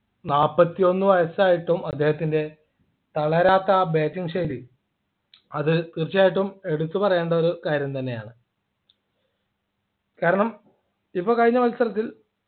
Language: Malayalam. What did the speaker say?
നാല്പത്തി ഒന്നു വയസ്സായിട്ടും അദ്ദേഹത്തിൻ്റെ തളരാത്ത ആ batting ശൈലി അത് തീർച്ചയായിട്ടും എടുത്തു പറയേണ്ട ഒരു കാര്യം തന്നെയാണ് കാരണം ഇപ്പോ കഴിഞ്ഞ മത്സരത്തിൽ